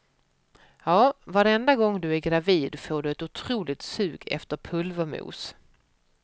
Ja, varenda gång du är gravid får du ett otroligt sug efter pulvermos.